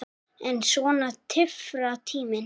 En svona tifar tíminn.